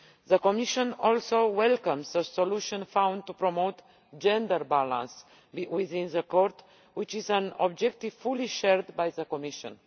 The Commission also welcomes the solution found to promote gender balance within the Court, which is an objective fully shared by the Commission.